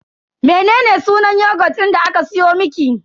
Mene sunan yogut din da aka siyo miki?